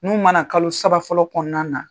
N'u ma na kalo saba fɔlɔ kɔnɔna na,